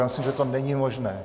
Já myslím, že to není možné.